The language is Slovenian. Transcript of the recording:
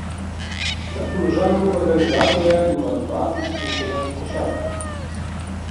Na položaju organizatorja ima dva izkušenega košarkarja.